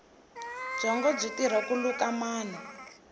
byongo byi tirha ku luka manu